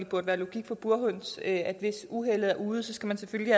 burde være logik for burhøns nemlig at hvis uheldet er ude skal man selvfølgelig